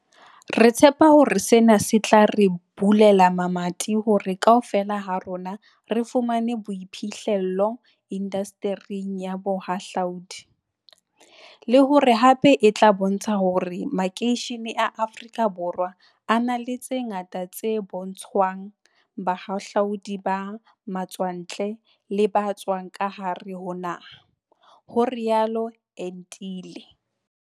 "Re tshepa hore sena se tla re bulela mamati hore kaofela ha rona re fumane boiphihle llo indastering ya bohahlua di, le hore hape e tla bontsha hore makeishene a Afrika Borwa a na le tse ngata tse ka bontshwang bahahlaudi ba matswantle le ba tswang ka hare ho naha" ho rialo Entile.